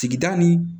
Sigida ni